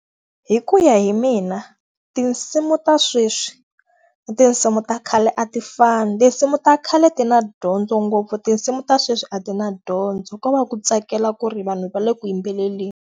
Hi ku ya hi mina, tinsimu ta sweswi na tinsimu ta khale a ti fani. Tinsimu ta khale ti na dyondzo ngopfu tinsimu ta sweswi a ti na dyondzo, ko va ku tsakela ku ri vanhu va le ku yimbeleleni.